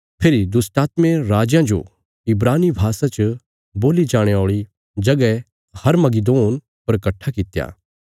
फेरी दुष्टात्में राजयां जो इब्रानी भाषा च बोल्ली जाणे औल़ी जगह हरमगिदोन पर कट्ठा कित्या